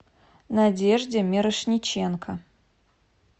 надежде мирошниченко